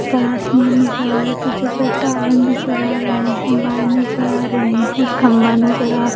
ऊपर आसमान नज़र आ रहा है पीछे से टावर नज़र आ रहे हैंवायर नज़र आ रहे है कम्बा नज़र आ--